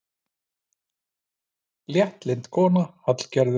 Léttlynd kona, Hallgerður.